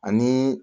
Ani